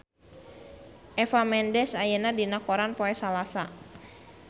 Eva Mendes aya dina koran poe Salasa